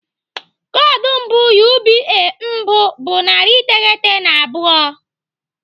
Koodu mbụ UBA mbụ bụ narị iteghete na abụọ.